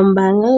Ombaanga